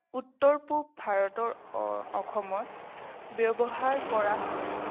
উত্তৰ-পূব ভাৰতৰ অসমত ব্যৱহাৰ কৰা হয়।